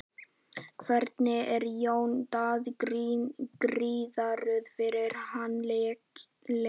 Hvernig er Jón Daði gíraður fyrir þann leik?